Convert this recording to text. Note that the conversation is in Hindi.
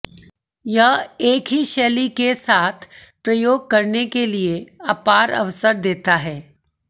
यह एक ही शैली के साथ प्रयोग करने के लिए अपार अवसर देता है